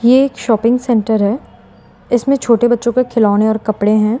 ये एक shopping centre है इसमें छोटे बच्चों के खिलौने और कपड़े हैं।